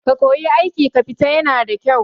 Ka koyi aiki kafita yana da kyau